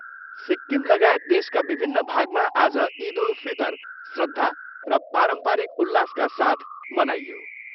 सिक्किमलगायत देशका विभिन्न भागमा आज इद उल फितर श्रद्धा र पारम्परिक उल्लासका साथ मनाइयो।